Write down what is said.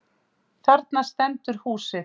Þarna stendur húsið.